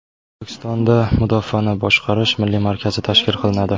O‘zbekistonda Mudofaani boshqarish milliy markazi tashkil qilinadi.